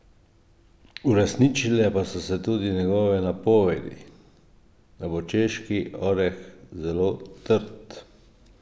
Uresničile pa so se tudi njegove napovedi, da bo češki oreh zelo trd.